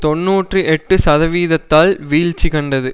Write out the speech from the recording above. தொன்னூற்றி எட்டு சதவீதத்தால் வீழ்ச்சி கண்டது